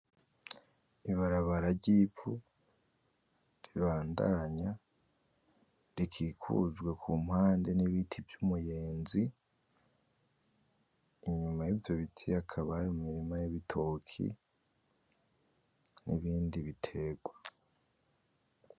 Ibarabara ry’ivu ribandanya rikikujwe ku mpande n’ibiti vy’umuyenzi inyuma y’ivyo biti hakaba hari imirima y’ibitoki n’ibindi biterwa.